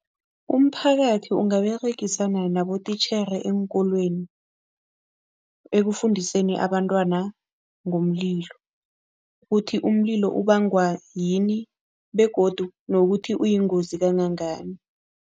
Umphakathi ungaberegisana nabotitjhere eenkolweni ekufundiseni abantwana ngomlilo, ukuthi umlilo ubangwa yini begodu nokuthi uyingozi kangangani.